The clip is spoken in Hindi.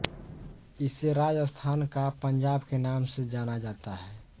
इसे राजस्थान का पंजाब के नाम से जाना जाता है